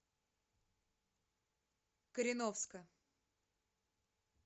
кореновска